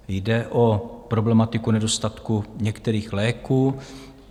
Jde o problematiku nedostatku některých léků.